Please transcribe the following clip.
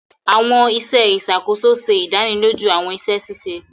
Awọn iṣẹ iṣakoso ṣe ìdánilójú awọn iṣẹ ṣiṣe.